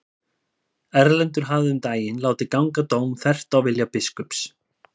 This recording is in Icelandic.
Erlendur hafði um daginn látið ganga dóm þvert á vilja biskups.